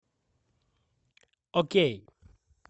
окей